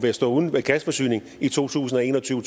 stå uden gasforsyning i to tusind og en og tyve